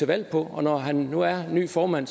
valg på og når herre nu er ny formand